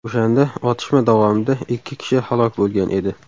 O‘shanda otishma davomida ikki kishi halok bo‘lgan edi.